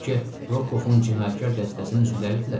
Bəlkə Rokkovun cinayətkar dəstəsinin üzvləridirlər?